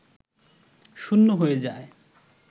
শূন্য হয়ে যায়